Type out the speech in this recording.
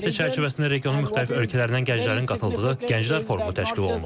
Bu həftə çərçivəsində regionun müxtəlif ölkələrindən gənclərin qatıldığı gənclər forumu təşkil olunub.